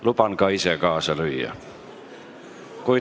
Luban ka ise kaasa lüüa.